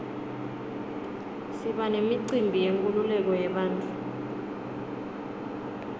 siba nemicimbi yenkululeko yebantfu